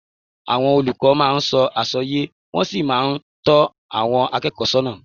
Àwọn olùkọ́ máa ń sọ àwọn àsọyé, wọ́n sì máa ń tọ́ àwọn akẹ́kọ̀ọ́ sọ́nà